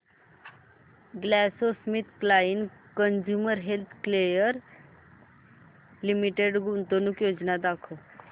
GlaxoSmithKline Consumer Healthcare Limited गुंतवणूक योजना दाखव